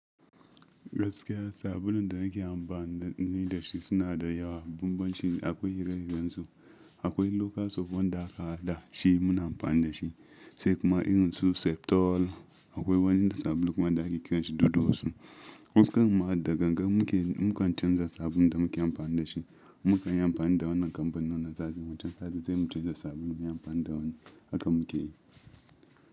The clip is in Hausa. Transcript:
Gaskiya sabulun da nake amfani da shi suna da yawa. Bambanci akwai ire-iren su, akwai lokal soap wanda aka haɗa shi muna amfani da shi, sai kuma irin su septol akwai wani sabulu kuma da ake kiranshi dudu osun. Wanin karon ma da gangan muke mukan canza sabulun da muke amfani da shi. Mukan yi amfani da wannan kampanin nan satin wancan satin zai mu canza sabulun mu yi amfani da wani haka muke yi.